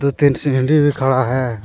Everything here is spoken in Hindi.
दो तीन सीढ़ी भी खड़ा है।